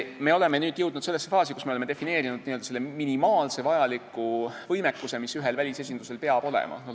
Me oleme jõudnud sellesse faasi, kus me oleme defineerinud n-ö minimaalselt vajaliku võimekuse, mis ühel välisesindusel peab olema.